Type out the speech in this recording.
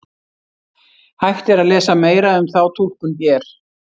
Hægt er að lesa meira um þá túlkun hér.